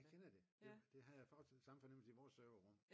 Jeg kender det jeg havde samme fornemmelse i vores serverrum